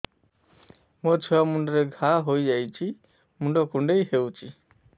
ମୋ ଛୁଆ ମୁଣ୍ଡରେ ଘାଆ ହୋଇଯାଇଛି ମୁଣ୍ଡ କୁଣ୍ଡେଇ ହେଉଛି